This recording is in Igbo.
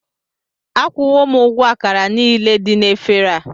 Akwụwo m ụgwọ àkàrà niile dị na éféré a